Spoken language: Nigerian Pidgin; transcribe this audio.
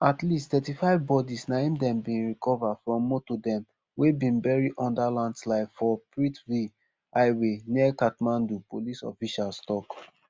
at least thirty-five bodies na im dem bin recover from motor dem wey bin bury under landslide for prithvi highway near kathmandu police officials tok